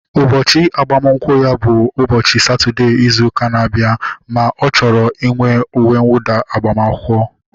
Ụbọchị agbamakwụkwọ ya bụ ụbọchị Satọdee izu ụka na-abịa ma ọ chọrọ uwe nwụda agbamakwụkwọ